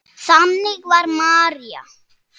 Þannig var María.